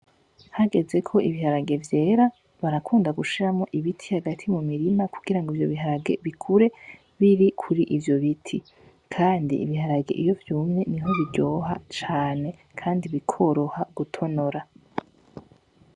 Hageze ko ibiharage vyera barakunda gushiramwo ibiti hagati mu mirima kugira ngo ivyo biharage bikure biri kuri ivyo biti kandi ibiharage iyo vyumye niho biryoha cane kandi bikoroha gutonora